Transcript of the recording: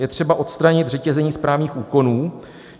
Je třeba odstranit řetězení správních úkonů.